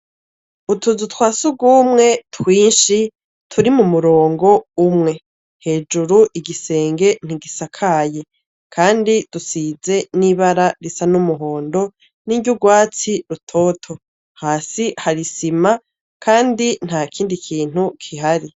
Utuzu twa sugumwe twinshi turi mu murongo umwe. Hejuru igisenge ntigisakaye Kandi dusize n'ibara risa n'umuhondo n'iry'urwatsi rutoto hasi hari isima Kandi ntakindi kintu gihari .